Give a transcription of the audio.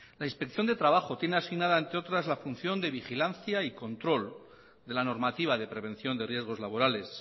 la inspección de trabajo tiene asignada entre otras la función de vigilancia y control de la normativa de prevención de riesgos laborales